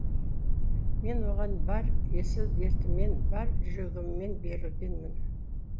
мен оған бар есіл дертіммен бар жүрегіммен берілгенмін